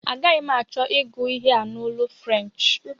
Agaghi m achọ ịgụ ihe a n'olu French